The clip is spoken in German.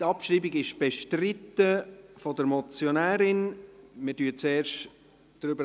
Die Abschreibung ist seitens der Motionärin bestritten.